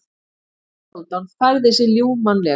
Haraldur Hálfdán færði sig ljúfmannlega.